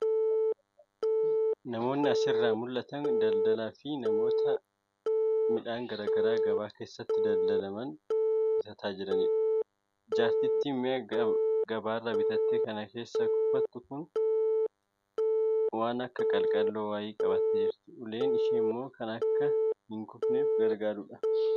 Namoonni asirraa mul'atan daldalaa fi namoota midhaan garaagaraa gabaa keessatti daldalaman bitataa jiranidha. Jaartittiin mi'a gabaarraa bitatte kan keessatti kuufattu waan akka qalqalloo wayii qabattee jirti. Uleen isheemmoo akka hin kufneef gargaara.